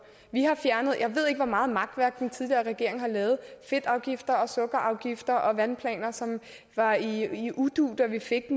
jeg ved ikke hvor meget makværk den tidligere regering har lavet fedtafgifter sukkerafgifter og vandplaner som var i udu da vi fik